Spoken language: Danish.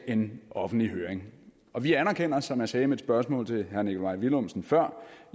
en offentlig høring og vi anerkender som jeg sagde i mit spørgsmål til herre nikolaj villumsen før